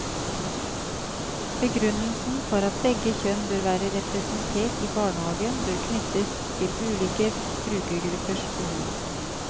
Begrunnelsen for at begge kjønn bør være representert i barnehagen bør knyttes til ulike brukergruppers behov.